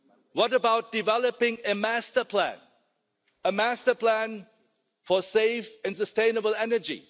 What about developing a master plan for safe and sustainable energy?